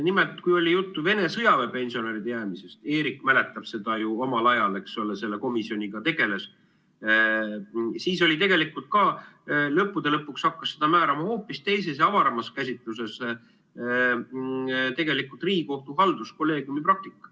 Nimelt, kui oli juttu Vene sõjaväepensionäride jäämisest, Eerik mäletab seda ju, ta omal ajal selle komisjoniga tegeles, siis tegelikult lõpuks hakkas seda määrama hoopis teises ja avaramas käsitluses Riigikohtu halduskolleegiumi praktika.